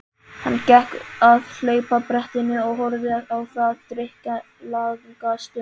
Hann gekk að hlaupabrettinu og horfði á það drykklanga stund.